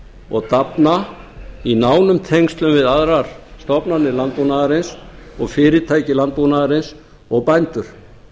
og dafna í nánum tengslum við aðrar stofnanir landbúnaðarins og fyrirtæki landbúnaðarins og bændur